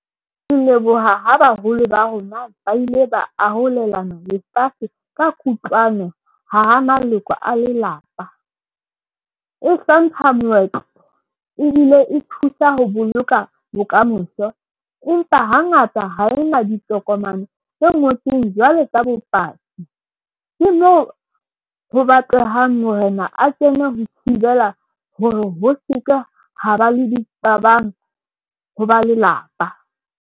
Ke leboha ho baholo ba rona ba ile ba arolelana lefatshe ka kutlwano. Hara maloko a lelapa. O hlompha moetlo ebile e thusa ho boloka bokamoso. Empa hangata ha e na ditokomane tse ngotsweng jwalo ka bopaki. Ke mo ho batlehang morena a kene ho thibela hore ho seke ha ba le diqabang ho ba lelapa.